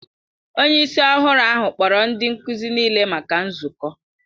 Onye isi ọhụrụ ahụ kpọrọ ndị nkuzi niile maka nzukọ.